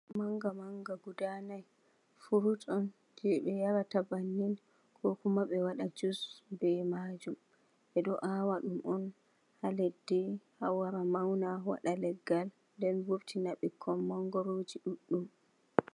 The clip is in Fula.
Mangoro manga manga guda nai, furut on jei ɓe yarata bannin ko kuma ɓe waɗa jus be maajum. Ɓe ɗo aawa ɗum on ha leddi ha wara mauna waɗa leggal den vurtina ɓikkon mangoroji ɗuɗɗum.